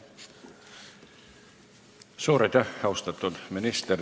Suur aitäh, austatud minister!